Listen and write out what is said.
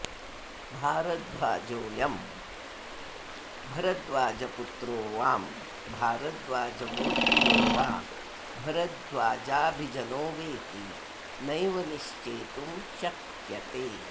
भारद्वाजोऽयं भरद्वाजपुत्रो वां भारद्वाजगोत्रीयो वा भरद्वाजाभिजनो वेति नैव निश्चेतुं शक्यते